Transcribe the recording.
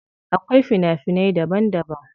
Akwai fina finai daban daban.